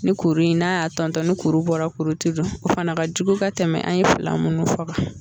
Ni kuru in, n'a y'a tɔntɔn ni kuru bɔra kuru te don, o fana ka jugu ka tɛmɛ an ye fila minnu fɔ ka